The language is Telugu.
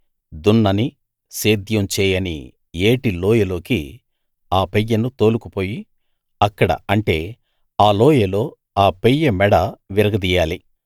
దున్నని సేద్యం చేయని ఏటి లోయ లోకి ఆ పెయ్యను తోలుకుపోయి అక్కడ అంటే ఆ లోయలో ఆ పెయ్య మెడ విరగదీయాలి